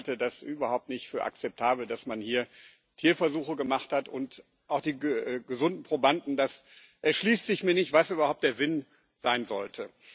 Ich halte das überhaupt nicht für akzeptabel, dass man hier Tierversuche gemacht hat, und auch die gesunden Probanden mir erschließt sich nicht, was überhaupt der Sinn sein sollte.